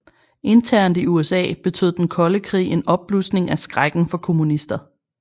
Internt i USA betød den kolde krig en opblusning af skrækken for kommunister